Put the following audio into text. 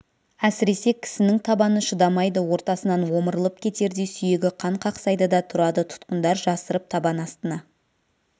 әсіресе кісінің табаны шыдамайды ортасынан омырылып кетердей сүйегі қан қақсайды да тұрады тұтқындар жасырып табан астына